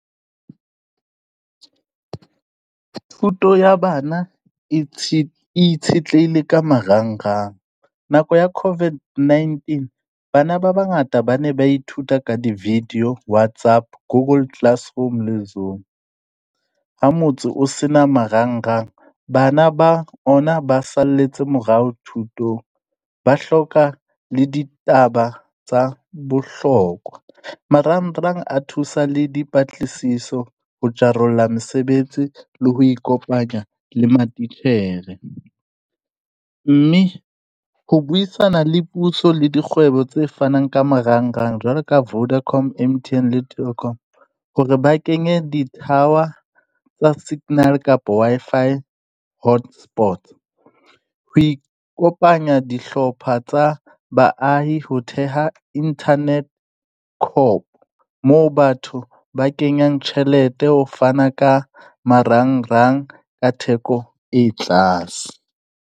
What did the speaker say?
Thuto ya bana e e itshetlehile ka marang-rang. Nako ya COVID-19, bana ba bangata ba ne ba ithuta ka di-video, WhatsApp, google classroom le Zoom. Ha motse o se na marang-rang bana ba ona ba salletse morao thutong. Ba hloka le ditaba tsa bohlokwa. Marang-rang a thusa le dipatlisiso ho jarolla mesebetsi le ho ikopanya le matitjhere. Mme ho buisana le puso la dikgwebo tse fanang ka marang-rang jwalo ka Vodacom, M_T_N le Telkom hore ba kenye di-tower tsa signal kapa Wi-Fi hotspot. Ho ikopanya dihlopha tsa baahi ho theha Internet cop moo batho ba kenyang tjhelete ho fana ka marang-rang ka theko e tlase.